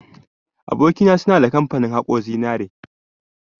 Aboki na, suna da kamfani haƙo zinari.